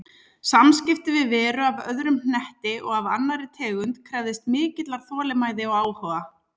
Samskipti við veru af öðrum hnetti og af annarri tegund krefðist mikillar þolinmæði og áhuga.